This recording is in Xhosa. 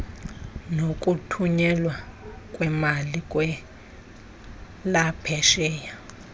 nokuthunyelwa kweemali kwelaphesheya